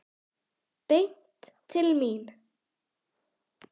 Beint til mín!